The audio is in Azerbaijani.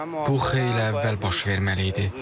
Bu xeyli əvvəl baş verməli idi.